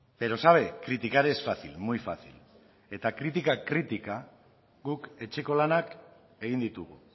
pero sabe criticar es fácil muy fácil eta kritika kritika guk etxeko lanak egin ditugu